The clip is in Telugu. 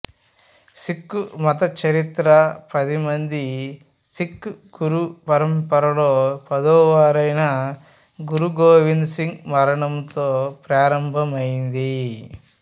సిక్ఖు మత చరిత్ర పదిమంది సిక్ఖు గురు పరంపరలో పదోవారైన గురు గోవింద్ సింగ్ మరణంతో ప్రారంభమైంది